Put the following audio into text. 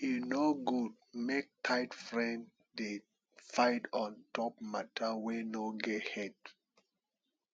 e no good make tight friend dey fight on top mata wey no get head